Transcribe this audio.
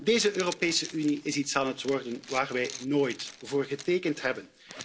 Deze Europese Unie is iets aan het worden waar wij nooit voor getekend hebben.